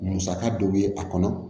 Musaka dɔ bɛ a kɔnɔ